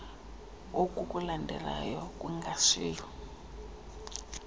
oku kulandelayo kungashiywa